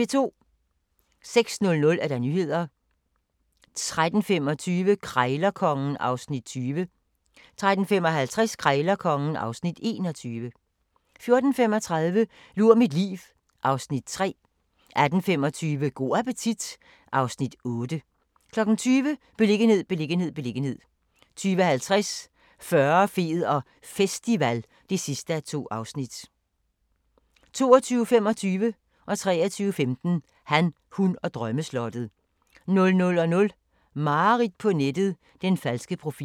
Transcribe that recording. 06:00: Nyhederne 13:25: Krejlerkongen (Afs. 20) 13:55: Krejlerkongen (Afs. 21) 14:35: Lur mit liv (Afs. 3) 18:25: Go' appetit (Afs. 8) 20:00: Beliggenhed, beliggenhed, beliggenhed 20:50: Fyrre, fed og festival (2:2) 22:25: Han, hun og drømmeslottet 23:15: Han, hun og drømmeslottet 00:00: Mareridt på nettet - den falske profil